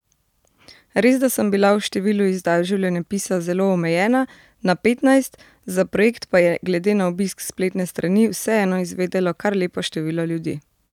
Resda sem bila v številu izdaj življenjepisa zelo omejena, na petnajst, za projekt pa je glede na obisk spletne strani vseeno izvedelo kar lepo število ljudi.